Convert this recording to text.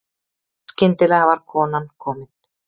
Skyndilega var konan komin.